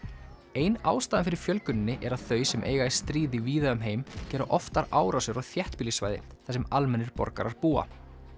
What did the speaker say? ein ástæðan fyrir fjölguninni er að þau sem eiga í stríði víða um heim gera oftar árásir á þéttbýlissvæði þar sem almennir borgarar búa